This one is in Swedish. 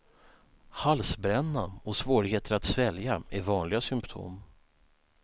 Halsbränna och svårigheter att svälja är vanliga symptom.